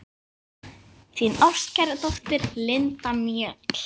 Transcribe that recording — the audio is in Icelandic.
Þín ástkæra dóttir, Linda Mjöll.